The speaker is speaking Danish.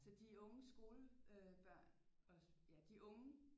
Så de unge skole øh børn også ja de unge